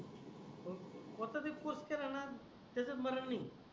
पण कोणता तरी कोर्स केला णा त्याचात मना नाही